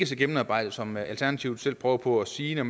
så gennemarbejdet som alternativet selv prøver på at sige det